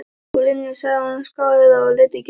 Ég Linja sagði sú skáeygða og leit ekki við Erni.